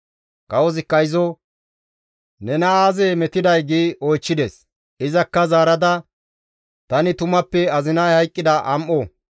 Kawozikka izo, «Nena aazee metiday?» gi oychchides. Izakka zaarada, «Tani tumappe azinay hayqqida am7o.